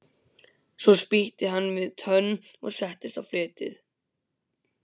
Svo spýtti hann við tönn og settist á fletið.